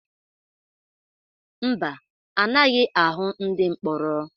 Mba, anaghị ahụ ndị mkpọrọ.